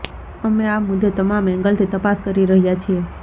અમે આ મુદ્દે તમામ એંગલથી તપાસ કરી રહ્યા છીએ